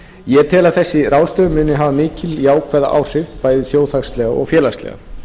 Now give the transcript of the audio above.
ég tel að þessi ráðstöfun muni hafa mikil og jákvæð áhrif bæði þjóðhagslega og félagslega